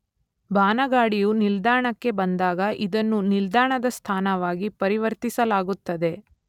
ಬಾನಗಾಡಿಯು ನಿಲ್ದಾಣಕ್ಕೆ ಬಂದಾಗ ಇದನ್ನು ನಿಲ್ದಾಣದ ಸ್ಥಾನವಾಗಿ ಪರಿವರ್ತಿಸಲಾಗುತ್ತದೆ